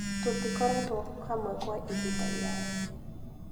Tũtikoretwo hamwe kwa ihinda iraya.